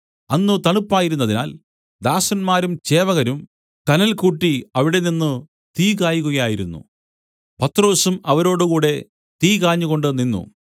അന്ന് തണുപ്പായിരുന്നതിനാൽ ദാസന്മാരും ചേവകരും കനൽ കൂട്ടി അവിടെനിന്നു തീ കായുകയായിരുന്നു പത്രൊസും അവരോടുകൂടെ തീ കാഞ്ഞുകൊണ്ട് നിന്നു